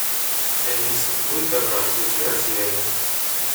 эй алиса будь добра включи россия один